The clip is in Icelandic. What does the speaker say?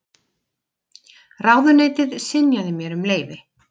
Ráðuneytið synjaði mér um leyfi.